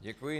Děkuji.